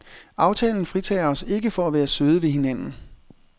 Aftalen fritager os ikke for at være søde ved hinanden.